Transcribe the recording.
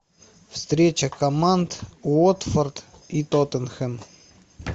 встреча команд уотфорд и тоттенхэм